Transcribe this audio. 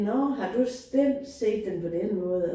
Nåh har du den set den på den måde og